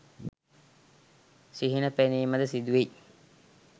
සිහින පෙනීම ද සිදුවෙයි.